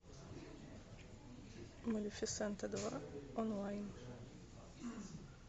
малефисента два онлайн